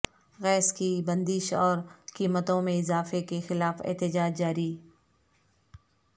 gas کی بندش اور قیمتوں میں اضافے کے خلاف احتجاج جاری